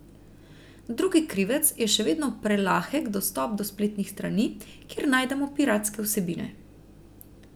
Drugi krivec je še vedno prelahek dostop do spletnih strani, kjer najdemo piratske vsebine.